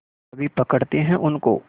अभी पकड़ते हैं उनको